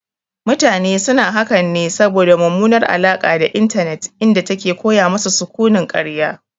Mutane suna hakan ne saboda mummunar alaƙa da intanet inda take koya masu sukunin karya